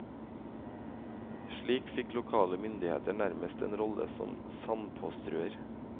Slik fikk lokale myndigheter nærmest en rolle som sandpåstrøer.